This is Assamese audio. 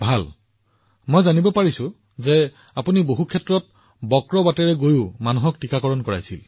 ভাল মোক কোৱা হৈছে পুনমজী আপুনি সোঁতৰ বিপৰীতে পৰা ওলাই গৈ মানুহক টীকাকৰণ কৰিছিল